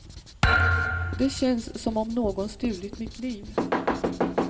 Det känns som om någon stulit mitt liv.